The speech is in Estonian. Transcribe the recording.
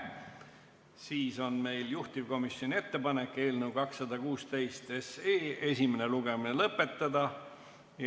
Siis on meil juhtivkomisjoni ettepanek eelnõu 216 esimene lugemine lõpetada.